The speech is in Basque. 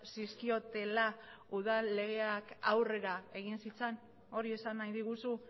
zizkiotela udal legeak aurrera egin zitzan hori esan nahi diguzu